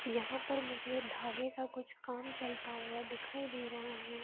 यहाँ पर मुझे धागे का कुछ काम चलता हुआ दिखाई दे रहा है।